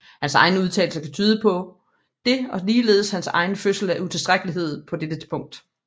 Hans egne udtalelser kan tyde på det og ligeledes hans egen følelse af utilstrækkelighed på dette punkt